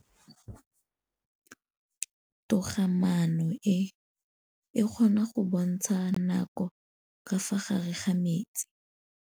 Toga-maanô e, e kgona go bontsha nakô ka fa gare ga metsi.